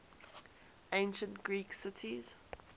ancient greek cities